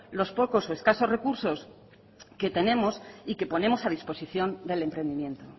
los pocos o escasos recursos que tenemos y que ponemos a disposición del emprendimiento